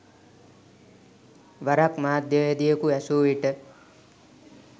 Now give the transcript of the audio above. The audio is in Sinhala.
වරක් මාධ්‍යවේදියෙකු ඇසූ විට